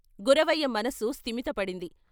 గురవయ్య మనస్సు స్తిమితపడింది.